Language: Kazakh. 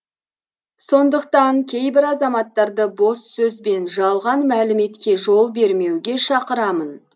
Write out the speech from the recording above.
сондықтан кейбір азаматтарды бос сөз бен жалған мәліметке жол бермеуге шақырамын